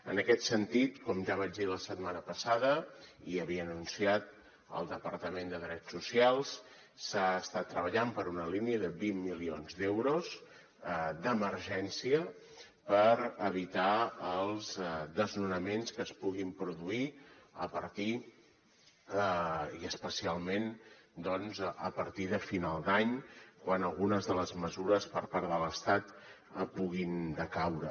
en aquest sentit com ja vaig dir la setmana passada i havia anunciat el departament de drets socials s’està treballant per una línia de vint milions d’euros d’emergència per evitar els desnonaments que es puguin produir a partir i especialment doncs a partir de final d’any quan algunes de les mesures per part de l’estat puguin decaure